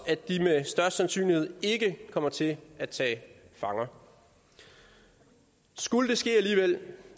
at de med stor sandsynlighed ikke kommer til at tage fanger skulle det ske alligevel